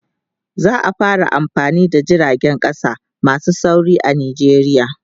za'a fara amfani da jiragen ƙasa masu sauri a nijeriya